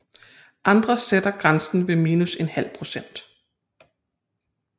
Andre sætter grænsen ved minus en halv procent